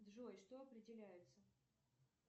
джой что определяется